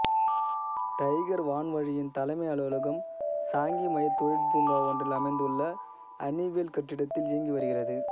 tiger வான்வழியின் தலைமை அலுவலகம் சாங்கி மையத் தொழிற்பூங்கா ஒன்றில் அமைந்துள்ள ஹனிவெல் கட்டிடத்தில் இயங்கி வருகிறது